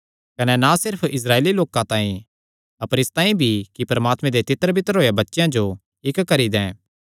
कने ना सिर्फ इस्राएली लोकां तांई अपर इसतांई भी कि परमात्मे दे तितरबितर होएयां बच्चेयां जो इक्क करी दैं